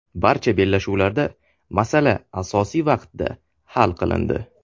Barcha bellashuvlarda masala asosiy vaqtda hal qilindi.